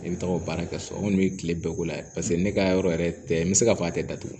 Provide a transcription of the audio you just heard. Ne bɛ taga o baara kɛ ka so kɔni bɛ kile bɛɛ k'o la ye paseke ne ka yɔrɔ yɛrɛ tɛ n bɛ se k'a fɔ a tɛ datugu